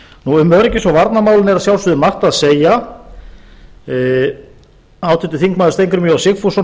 og varnarmálin er að sjálfsögðu margt að segja háttvirtur þingmaður steingrímur j sigfússon